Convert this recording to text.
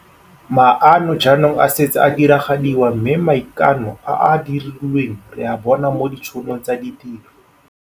Maano jaanong a setse a diragadiwa mme maikano a a dirilweng re a bona mo ditšhonong tsa ditiro.